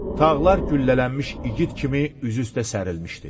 Tağlar güllələnmiş igid kimi üz-üstə sərilmişdi.